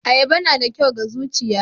Ayaba na da kyau ga zuchiya.